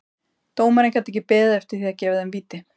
Dómarinn gat ekki beðið eftir því að gefa þeim víti.